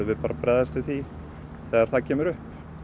við bara að bregðast við því þegar það kemur upp